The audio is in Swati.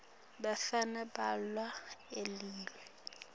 bafana balala eleiwini